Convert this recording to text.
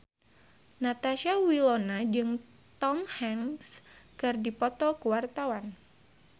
Natasha Wilona jeung Tom Hanks keur dipoto ku wartawan